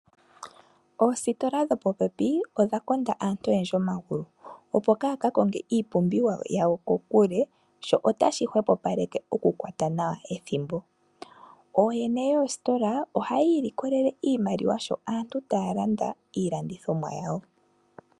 Oositola dhopopepi odha konda aantu oyendji omagulu opo kaaya ka konge iipumbiwa yawo ko kule sho otashi hwepopaleke oku kwata nawa ethimbo. Ooyene yoositola ohayii likolele iimaliwa sho aantu taya landa iilandithomwa yawo.